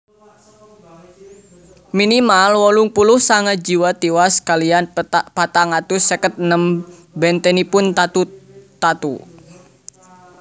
Minimal wolung puluh sanga jiwa tiwas kaliyan patang atus seket enem bèntenipun tatu tatu